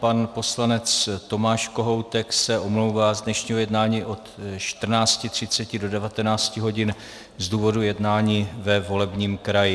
Pan poslanec Tomáš Kohoutek se omlouvá z dnešního jednání od 14.30 do 19 hodin z důvodu jednání ve volebním kraji.